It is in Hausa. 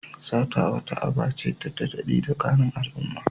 Sata wata aba ce da ta daɗe tsakanin al'umma.